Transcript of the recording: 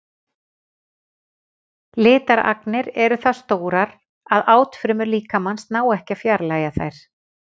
Litaragnirnar eru það stórar að átfrumur líkamans ná ekki að fjarlægja þær.